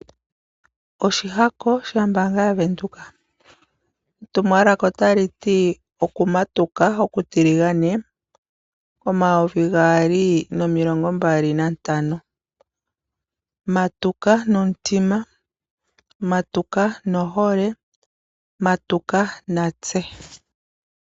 Oshihako shombaanga ya Venduka. Etumwalaka otaliti okumatuka okutiligane omayovi gaali nomilongombali nantano. Matuka nomutima, matuka nohole, matuka natse.